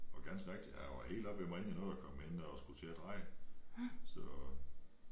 Og ganske rigtigt han var helt oppe ved mig inden jeg nåede at komme ind og skulle til at dreje så